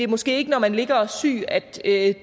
måske ikke når man ligger og er syg at